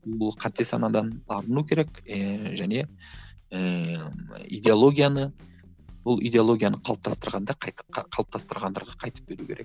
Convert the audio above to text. бұл қате санадан арылу керек ііі және ііі идеолгияны бұл идеологияны қалыптастырғанда қалыптастырғандарға қайтып беру керек